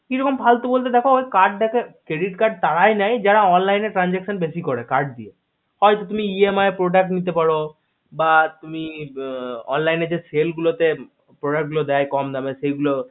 কিরকম ফালতু বলতে তা দেখাতে credit card তারাই নেয় যারা online transaction বেশি করে card দিয়ে হয়তো তুমি ইয়ে produat নিতে পারো দিয়ে বা তুমি online এ যে sale গুলো তে product গুলো দেয় কম দামে সেগুলো